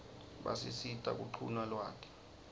basisita kuquna lwati